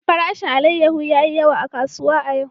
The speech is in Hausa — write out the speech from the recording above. Farashin alayyahu ya yi yawa a kasuwa a yau.